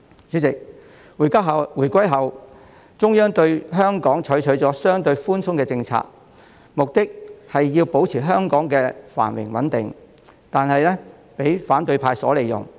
主席，在回歸後，中央對香港採取了相對寬鬆的政策，目的是要保持香港的繁榮穩定，但卻為反對派所利用。